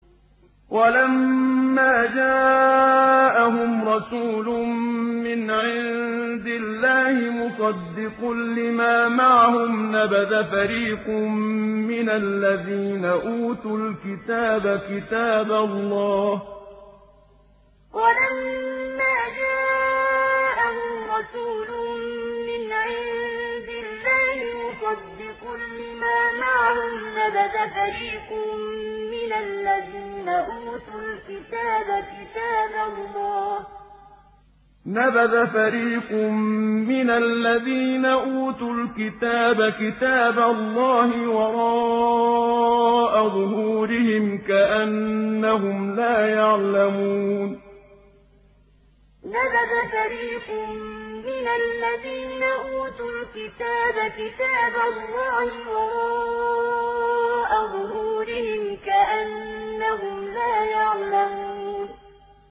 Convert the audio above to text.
وَلَمَّا جَاءَهُمْ رَسُولٌ مِّنْ عِندِ اللَّهِ مُصَدِّقٌ لِّمَا مَعَهُمْ نَبَذَ فَرِيقٌ مِّنَ الَّذِينَ أُوتُوا الْكِتَابَ كِتَابَ اللَّهِ وَرَاءَ ظُهُورِهِمْ كَأَنَّهُمْ لَا يَعْلَمُونَ وَلَمَّا جَاءَهُمْ رَسُولٌ مِّنْ عِندِ اللَّهِ مُصَدِّقٌ لِّمَا مَعَهُمْ نَبَذَ فَرِيقٌ مِّنَ الَّذِينَ أُوتُوا الْكِتَابَ كِتَابَ اللَّهِ وَرَاءَ ظُهُورِهِمْ كَأَنَّهُمْ لَا يَعْلَمُونَ